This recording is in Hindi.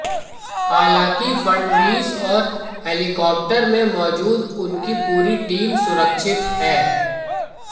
हालांकि फड़नवीस और हेलीकॉप्टर में मौजूद उनकी पूरी टीम सुरक्षित है